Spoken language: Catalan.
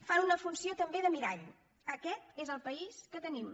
fan una funció també de mirall aquest és el país que tenim